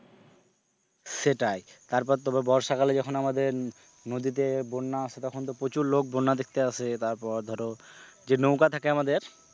সেটাই, তারপর তো বর্ষাকালে যখন আমাদের নদীতে বন্যা আসে তখন তো প্রচুর লোক বন্যা দেখতে আসে তারপর ধরো যে নৌকা থাকে আমাদের,